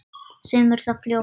Segðu mér það fljótt.